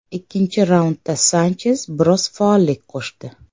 Ikkinchi raundda Sanches biroz faollik qo‘shdi.